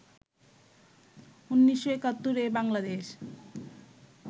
১৯৭১-এ Bangladesh